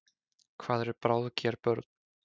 Hvað eru bráðger börn?